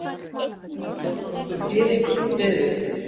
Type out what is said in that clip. Evrópskur gyðingur, Friðrik.